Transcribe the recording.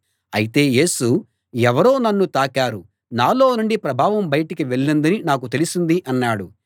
అయితే యేసు ఎవరో నన్ను తాకారు నాలో నుండి ప్రభావం బయటకు వెళ్ళిందని నాకు తెలిసింది అన్నాడు